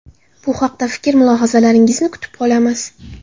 Bu haqda fikr-mulohazalaringizni kutib qolamiz.